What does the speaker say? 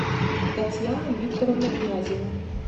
татьяну викторовну князеву